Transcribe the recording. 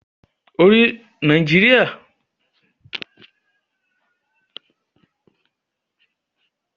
Nàìjíríà yóò tesiwaju lati gbe àwọn ọmọ ogun jade lọdọdun